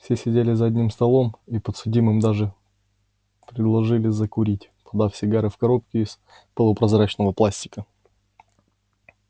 все сидели за одним столом и подсудимым даже предложили закурить подав сигары в коробке из полупрозрачного пластика